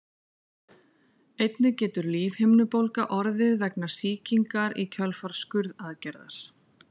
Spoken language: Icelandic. Einnig getur lífhimnubólga orðið vegna sýkingar í kjölfar skurðaðgerðar.